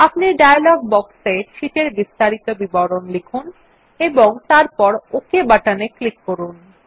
আপনি ডায়লগ বক্সে শীট এর বিস্তারিত বিবরণ লিখুন এবং তারপর ওক বাটনে ক্লিক করুন